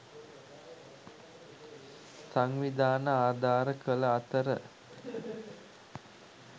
සංවිධාන ආධාර කළ අතර